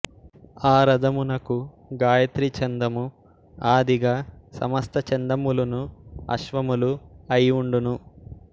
ఆరథమునకు గాయత్రీ ఛందము ఆదిగా సమస్తఛందములును అశ్వములు అయి ఉండును